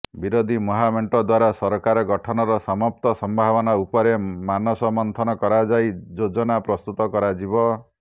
ବିରୋଧୀ ମହାମେଣ୍ଟ ଦ୍ବାରା ସରକାର ଗଠନର ସମସ୍ତ ସମ୍ଭାବନା ଉପରେ ମାନସ ମନ୍ଥନ କରାଯାଇ ଯୋଜନା ପ୍ରସ୍ତୁତ କରାଯିବ